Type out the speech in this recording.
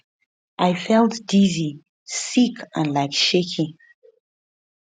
i felt dizzy sick and like shaky